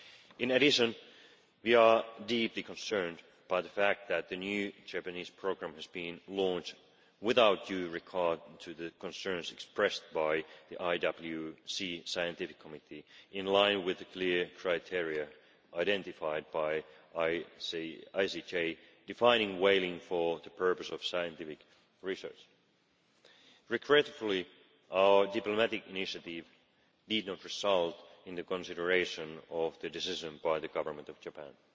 In addition, we are deeply concerned by the fact that the new Japanese programme has been launched without due recourse to the concerns expressed by the IWC Scientific Committee in line with the clear criteria identified by the ICJ defining whaling for the purpose of scientific research. Regrettably our diplomatic initiative did not result in reconsideration of the decision by the government of Japan.